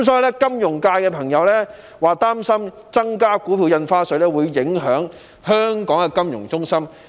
有金融界朋友表示，擔心增加股票印花稅會影響香港的金融中心地位。